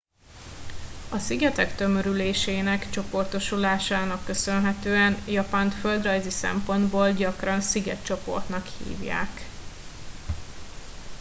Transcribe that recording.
"a szigetek tömörülésének/csoportosulásának köszönhetően japánt földrajzi szempontból gyakran "szigetcsoportnak" hívják.